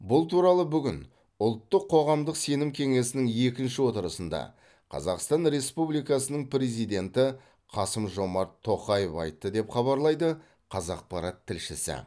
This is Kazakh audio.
бұл туралы бүгін ұлттық қоғамдық сенім кеңесінің екінші отырысында қазақстан республикасының президенті қасым жомарт тоқаев айтты деп хабарлайды қазақпарат тілшісі